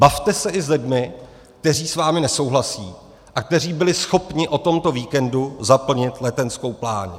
Bavte se i s lidmi, kteří s vámi nesouhlasí a kteří byli schopni o tomto víkendu zaplnit Letenskou pláň.